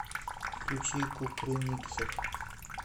включи кукрыниксов